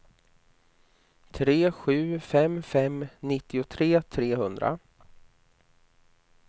tre sju fem fem nittiotre trehundra